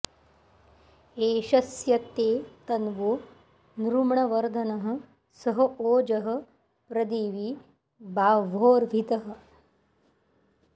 एष स्य ते तन्वो नृम्णवर्धनः सह ओजः प्रदिवि बाह्वोर्हितः